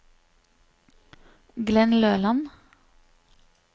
Glenn Løland